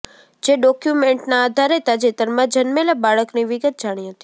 જે ડોક્યુમેન્ટના આધારે તાજેતરમાં જન્મેલા બાળકની વિગત જાણી હતી